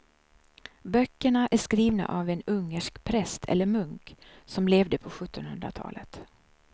Böckerna är skrivna av en ungersk präst eller munk som levde på sjuttonhundratalet.